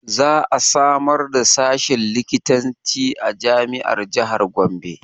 Za a samar da sashin likitanci a jami'ar jahar Gombe